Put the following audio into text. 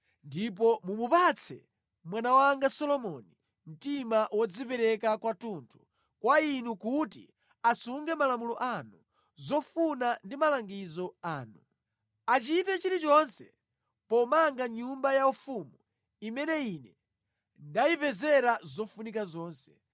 Ndipo mumupatse mwana wanga Solomoni mtima wodzipereka kwathunthu kwa Inu kuti asunge malamulo anu, zofuna ndi malangizo anu. Achite chilichonse pomanga nyumba yaufumu imene ine ndayipezera zofunika zonse.”